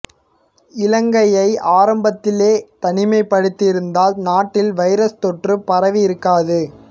இலங்கையை ஆரம்பத்திலே தனிமைப்படுத்தி இருந்தால் நாட்டில் வைரஸ் தொற்று பரவி இருக்காது